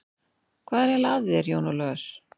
Hvað er eiginlega að þér, Jón Ólafur?